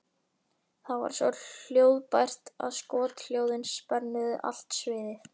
Það var svo hljóðbært að skothljóðin spönnuðu allt sviðið.